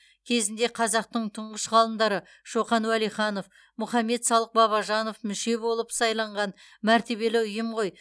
кезінде қазақтың тұңғыш ғалымдары шоқан уәлиханов мұхамед салық бабажанов мүше болып сайланған мәртебелі ұйым ғой